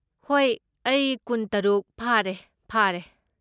ꯍꯣꯏ, ꯑꯩ ꯀꯨꯟꯇꯔꯨꯠ ꯐꯥꯔꯦ ꯐꯥꯔꯦ꯫